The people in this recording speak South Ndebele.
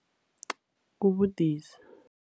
Kubudisi.